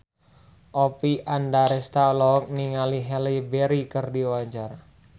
Oppie Andaresta olohok ningali Halle Berry keur diwawancara